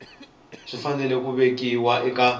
swi fanele ku vekiwa eka